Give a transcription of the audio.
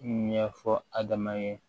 Ɲɛfɔ adama ye